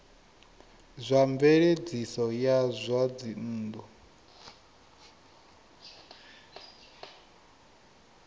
zwa mveledziso ya zwa dzinnu